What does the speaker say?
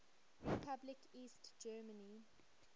republic east germany